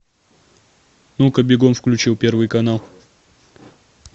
ну ка бегом включил первый канал